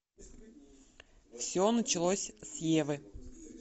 все началось с евы